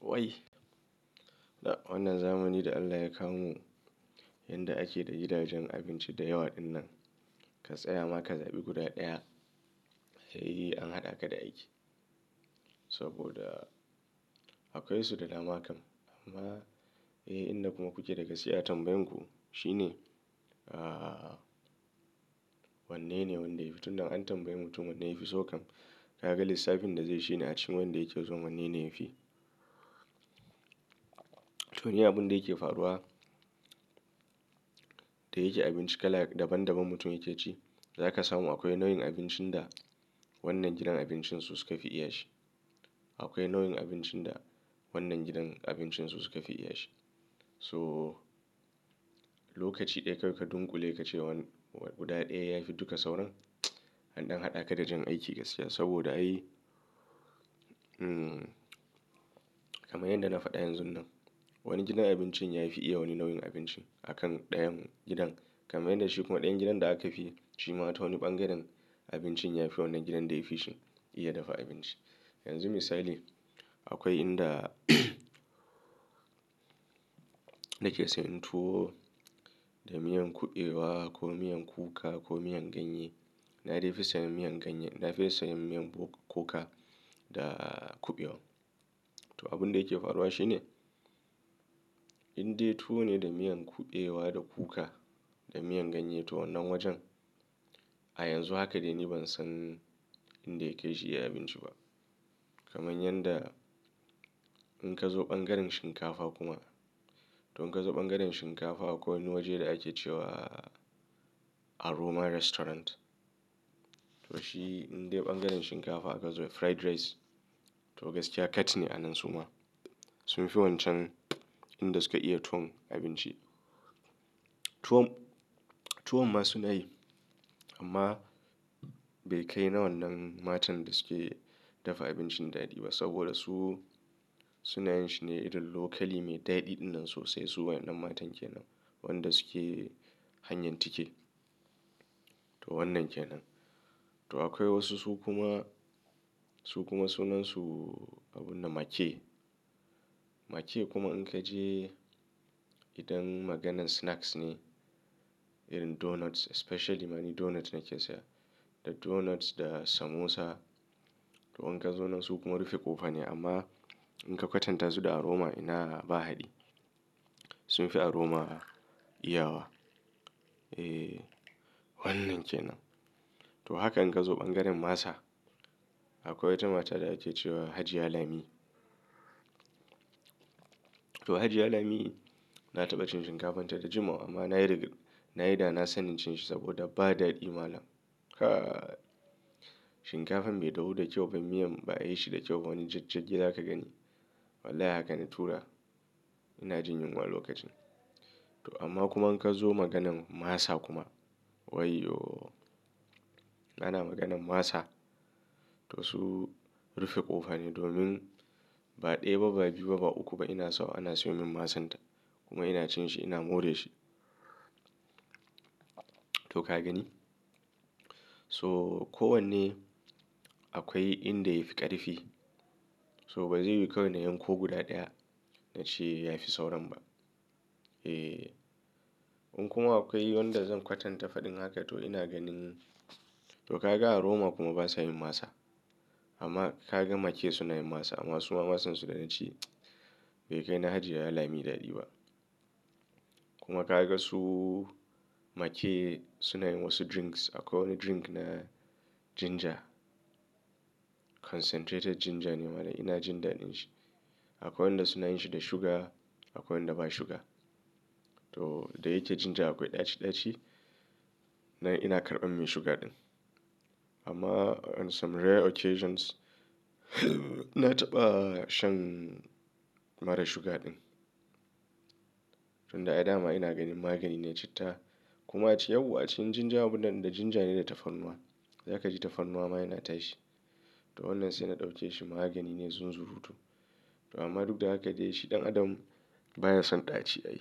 Wai, da wannan zamani da Allah ya kawo mu, yadda ake da gidajen abinci da yawa ɗinnan. Ka tsaya ma ka zaɓi guda ɗaya, sai an haɗa ka da aiki. Saboda akwai su da dama kam. Amma eh inda kuma kuke da gaskiya tambayan ku shine. Aaa wanne ne wanda yafi tunda an tambayi mutum wanne yafi so kam. Kaga lissafin da zai shi ne a cikin wanda yake so wanne ne yafi. To ni abunda yake faruwa, da yake abinci kala daban daban mutum yake ci. Zaka samu akwai nau'in abincin da wannan gidan abincin su suka fi iya shi. Akwai nau'in abincin da wannan gidan abincin su suka fi iya shi. So lokaci ɗaya kai ka dunƙule ka ce wani guda ɗaya ya fi duka sauran. An ɗan haɗa ka da jan aiki gaskiya saboda ai, hmm kamar yanda na faɗa yanzun nan. Wani gidan abinci yafi iya wani nau'in abinci a kan dayan gidan. Kamar yanda shi kuma dayan gidan da aka fi, shima ta wani ɓangaren abincin yafi wani gidan da ya fishi iya dafa abinci. Yanzu misali, akwai inda nake sayan tuwo da miyan kuɓewa ko miyan kuka ko miyan ganye. Na fi sayan miyan ganye, na fi sayan miyan kuka da kuɓewa. To abunda yake faruwa shine, indai tuwo ne da miyan kuɓewa da kuka da miyan ganye toh wannan wajen. A yanzu haka dai ni ban san inda yakai shi iya abinci ba. Kamar yanda in ka zo ɓangaren shinkafa kuma, to in ka zo ɓangaren shinkafa akwai wani waje da ake cewa Aroma Restaurant. To shi indai ya ɓangaren shinkafa ka zo fried rice, to gaskiya kat ne a nan suma. Sunfi wancan inda suka iya tuwon abinci. Tuwo, tuwon ma suna yi amma bai kai na wannan matan da suke dafa abincin daɗi ba saboda su, suna yin shi ne irin locally me ɗaɗi ɗinnan sosai. Su wannan matan kenan wanda suke hanyar tike to wannan kenan. To akwai wasu su kuma, su kuma sunansu abunda "ma-ke". Ma-ke kuma in ka je idan maganan snacks ne irin donuts especially ma ni donut nake siya. Da donuts da samosa to in ka zo nan su kuma rufe ƙofa ne amma in ka kwatanta su da Aroma ina ba haɗi. Sunfi Aroma iyawa. Eh wannan kenan. To haka in ka zo ɓangaren masa akwai wata mata da ake cewa Hajiya Lami. To Hajiya Lami na taɓa cin shinkafan ta da jimawa amma nayi nayi da na sani cin shi saboda ba daɗi malam. Kai! Shinkafan bai dahu da kyau ba miyan ba a yi shi da kyau. Wani jajjagi za ka gani wallahi haka na tura ina jin yunwa a lokacin. To amma kuma in ka zo maganan masa kuma wayyooo! Ana maganan masa, to su rufe ƙofa ne domin ba ɗaya ba ba biyu ba ba uku ba ina sawa ana siyo min masan ta. Kuma ina cin shi ina more shi. To ka gani? So kowanne akwai inda yafi ƙarfi. So ba zai yiwu kawai na yanko guda ɗaya na ce yafi sauran ba. Eh in kuma akwai wanda zan kwatanta faɗin haka to ina ganin to ka ga Aroma kuma ban san yin masa. Amma ka ga ma-ke suna yin masa amma su ma masan su da na ci bai kai na Hajiya Lami daɗi ba. Kuma ka ga su make suna yin wasu drinks. Akwai wani drink na ginger. Concentrated ginger ne mallam ina jin daɗin shi. Akwai wanda suna yin shi da sugar akwai wanda ba sugar. To da yake ginger akwai ɗaci ɗaci na ina karɓan me sugar ɗin. Amma on some rare occasions na taɓa shan mara sugar ɗin. Tun da ai dama ina ganin magani ne citta, kuma yawwa acikin ginger abunga ginger ne da tafarnuwa. Zaka ji tafarnuwa ma yana tashi to wannan sai na ɗauke shi magani ne zunzurutu. To amma duk da haka dai shi ɗan adam baya son ɗaci ai.